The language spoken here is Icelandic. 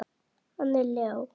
Hann Leó?